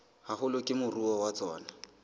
haholo ke moruo wa tsona